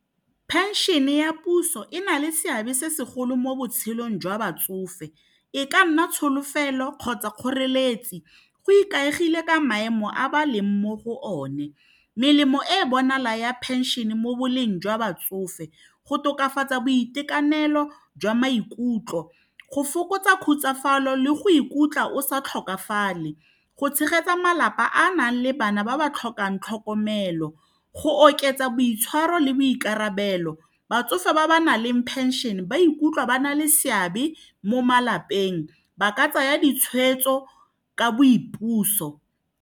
Pension-e ya puso e na le seabe se segolo mo botshelong jwa batsofe e ka nna tsholofelo kgotsa kgoreletsi go ikaegile ka maemo a ba leng mo go one melemo e bonalang ya phenšene mo boleng jwa batsofe go tokafatsa boitekanelo jwa maikutlo, go fokotsa khutsafalo le go ikutlwa o sa tlhokafale, go tshegetsa malapa a nang le bana ba ba ba tlhokang tlhokomelo, go oketsa boitshwaro le boikarabelo batsofe ba ba naleng phenšene ba ikutlwa ba na le seabe mo malapeng ba ka tsaya ditshwetso ka boipuso.